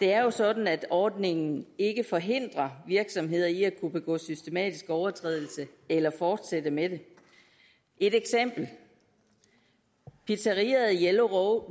det er jo sådan at ordningen ikke forhindrer virksomheder i at kunne begå systematiske overtrædelser eller fortsætte med det et eksempel pizzeriaet yellow